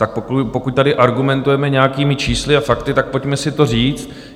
Tak pokud tady argumentujeme nějakými čísly a daty, tak pojďme si to říct.